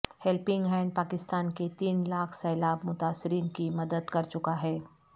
helping hand Pakistan کے تین لاکھ سیلاب متاثرین کی مدد کرچکاہے